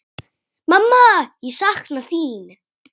Mamma, ég sakna þín.